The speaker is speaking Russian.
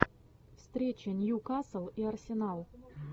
встреча ньюкасл и арсенал